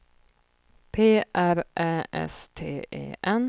P R Ä S T E N